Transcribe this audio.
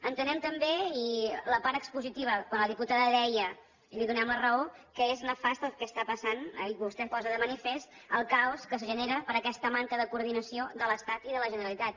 entenem també en la part expositiva quan la diputada deia i li donem la raó que és nefast el que està passant i vostè posa de manifest el caos que es genera per aquesta manca de coordinació de l’estat i de la generalitat